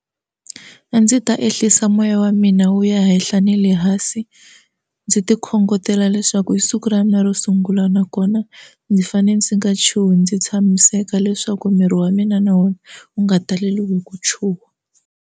A ndzi ta ehlisa moya wa mina wu ya henhla ni le hansi ndzi ti khongotela leswaku hi siku ra mina ro sungula nakona ndzi fanele ndzi nga chuhi ndzi tshamiseka leswaku miri wa mina na wona wu nga taleriwi hi ku chuha.